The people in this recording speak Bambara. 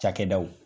Cakɛdaw